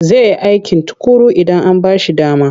Zai yi aiki tuƙuru idan an ba shi dama.